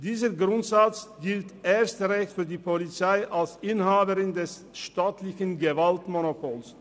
Dieser Grundsatz gilt erst recht für die Polizei als Inhaberin des staatlichen Gewaltmonopols.